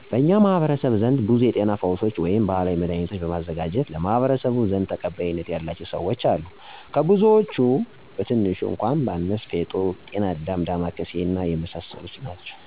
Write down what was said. በኛ ማህበረሰብ ዘንድ ብዙ የጤና ፈውሶች ወይም ባህላዊ መዳህኒቶችን በማዘጋጀት ለማህበረሰቡ ዘንድ ተቀባይነት ያላቸው ሰወች አሉ። ከብዙወች ቀትንሹ እኳ ባነሳ እንደ ፌጦ፣ ቅናዳም፣ ዳማ ከስይ ቀበሮቾ እና ሌሎችም አሉ። ለምሳሌ፣ ጉንፋን በሚከሰትበት ጊዚ ዳማከስይን ከሽሀይ ጋር አብሮ በማፍላት በሸሀይ መልኩ ይጠጣል። አብዛኛወች ባህላዊ መዳኒቶች በህብረተሰቡ ዘንድ የታወቁና የተለመዱ ናቸው።